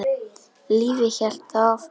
Lífið hélt þó áfram.